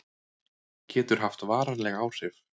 Getur haft varanleg áhrif